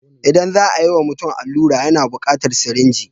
Idan za a yiwa mutum allura yana bukatar sirinji.